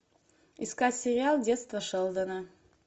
искать сериал детство шелдона